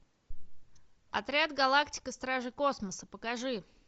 отряд галактика стражи космоса покажи